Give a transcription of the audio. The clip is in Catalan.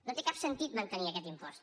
no té cap sentit mantenir aquest impost